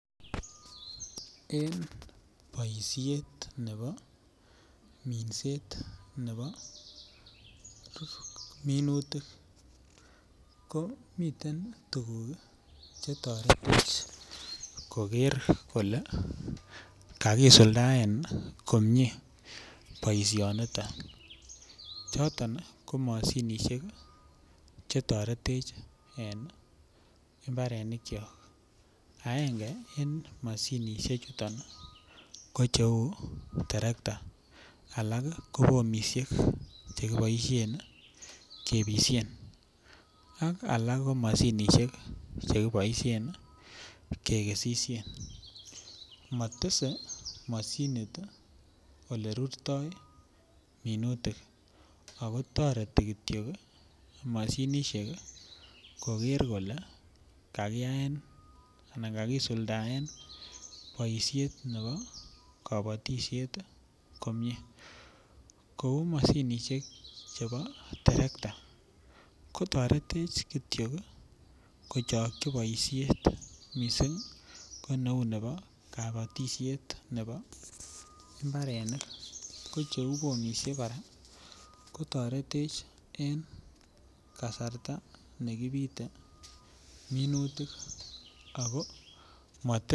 En boisiet nebo minset nebo minutik ko miten tuguk Che toretech koger kole kakisuldaen komie boisinito choton ko mashinisiek Che toretech en mbarenikyok agenge en mashinisiek ko cheu terekta alak ko bomisiek Che kiboisien kebisyen ak alak ko mashinisiek Che keboisien kekesisien motese mashinit Ole rurtoi minutik ako toreti Kityo mashinisiek koger kole kakiyaen boisiet nebo kabatisiet komie kou mashinisiek chebo terekta ko toretech Kityo kochokyi boisiet mising ko neu nebo kabatisiet nebo mbarenik ko cheu bomisiek kora kotoretech en kasarta ne kibite minutik ako motese rurutik